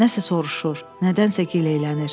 Nəsə soruşur, nədənsə gileylənir.